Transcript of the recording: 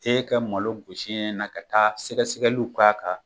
E ka malo gusi na ka taa sɛgɛ sɛgɛliw k'a kan.